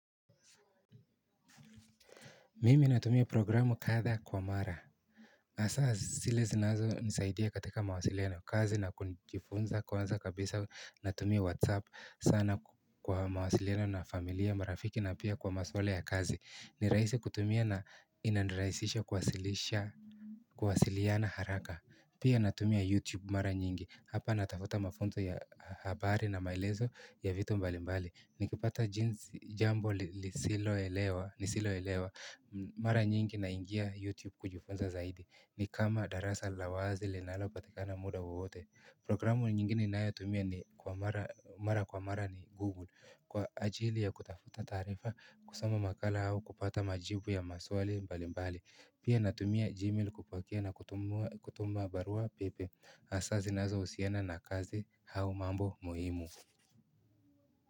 Mimi natumia programu kadhaa kwa mara. Asa sile zinazonisaidia katika mawasiliano kazi na kujifunza kwanza kabisa natumia whatsapp sana kwa mawasiliano na familia marafiki na pia kwa maswala ya kazi. Ni raisi kutumia na inaniraisisha kuwasilisha kuwasiliana haraka. Pia natumia youtube mara nyingi. Hapa natafuta mafunzo ya habari na maelezo ya vitu mbalimbali. Nikipata jeans jambo lisiloelewa. Nisiloelewa, mara nyingi naingia YouTube kujifunza zaidi ni kama darasa la wazi linalopatikana muda wowote Programu nyingine ninayotumia ni mara kwa mara ni Google Kwa ajili ya kutafuta taarifa kusoma makala au kupata majibu ya maswali mbalimbali. Pia natumia Gmail kupokea na kutuma barua pepe Asa zinazousiana na kazi au mambo muhimu.